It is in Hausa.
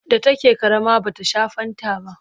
da take ƙarama bata Sha fanta ba